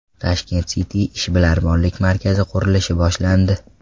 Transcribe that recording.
Tashkent City ishbilarmonlik markazi qurilishi boshlandi .